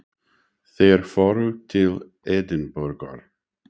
Þeir fóru til Edinborgar.